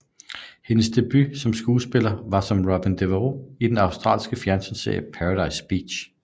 Hendes debut som skuespiller var som Robyn Devereaux i den australske fjernsynsserie Paradise Beach